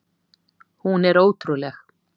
Hún er ótrúleg!